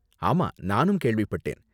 ஆமா, நானும் கேள்விப்பட்டேன்